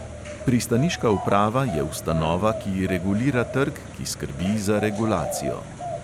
Pristaniška uprava je ustanova, ki regulira trg, ki skrbi za regulacijo.